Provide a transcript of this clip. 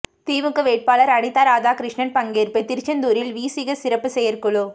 திமுக வேட்பாளர் அனிதா ராதாகிருஷ்ணன் பங்கேற்பு திருச்செந்தூரில் விசிக சிறப்பு செயற்குழு